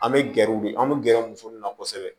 An bɛ gɛrɛ u bɛ an bɛ gɛrɛ muso min na kosɛbɛ